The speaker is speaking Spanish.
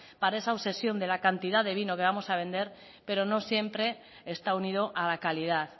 para esa obsesión de la cantidad de vino que vamos a vender pero no siempre está unido a la calidad